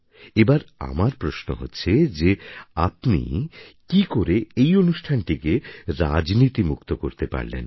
এবার আমার প্রশ্ন হচ্ছে যে আপনি কী করে এই অনুষ্ঠানটিকে রাজনীতিমুক্ত করতে পারলেন